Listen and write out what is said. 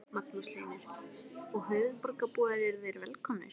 Magnús Hlynur: Og höfuðborgarbúar eru þeir velkomnir?